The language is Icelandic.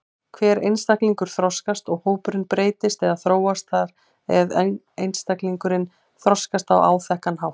Hver einstaklingur þroskast og hópurinn breytist eða þróast þar eð einstaklingarnir þroskast á áþekkan hátt.